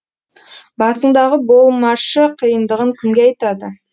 басыңдағы болмашы қиындығын кімге айтады